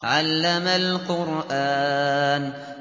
عَلَّمَ الْقُرْآنَ